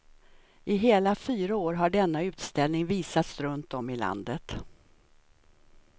I hela fyra år har denna utställning visats runt om i landet.